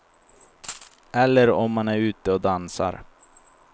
Eller om man är ute och dansar.